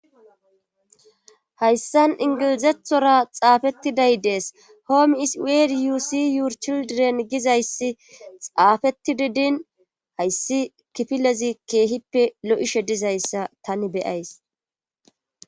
Hayssan ingilizethora xaafettiday dees hoomi iswariyusi yuur childiden gizayssi xaafetti didin hayssi kifilezi keehippe lo'ishe dizayssa tani beyays.